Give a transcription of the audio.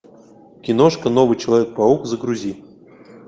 киношка новый человек паук загрузи